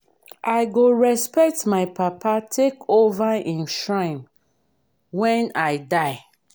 i go respect my papa take over im shrine wen i die